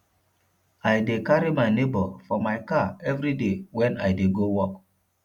i dey carry my nebor for my car everyday wen i dey go work